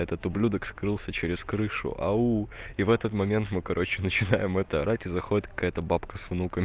этот ублюдок скрылся через крышу ау и в этот момент мы короче начинаем это арать и заходит какая-то бабка с внукам